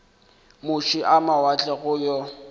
moše a mawatle go yo